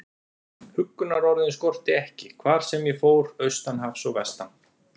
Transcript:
Huggunarorðin skorti ekki, hvar sem ég fór, austan hafs og vestan.